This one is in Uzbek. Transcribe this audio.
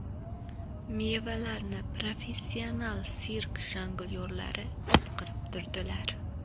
Mevalarni professional sirk jonglyorlari itqitib turdilar.